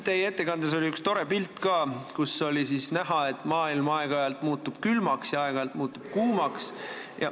Teie ettekandes oli üks tore pilt, kust oli näha, et maailm muutub aeg-ajalt külmaks ja aeg-ajalt kuumaks.